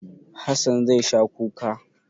Hassan zai sha kuka.